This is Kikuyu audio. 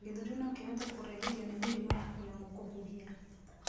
gĩthũri nokihote kurehithio ni mĩrimũ ya kuremwo kuhihia